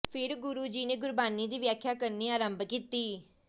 ਫਿਰ ਗੁਰੂ ਜੀ ਨੇ ਗੁਰਬਾਣੀ ਦੀ ਵਿਆਖਿਆ ਕਰਨੀ ਆਰੰਭ ਕੀਤੀ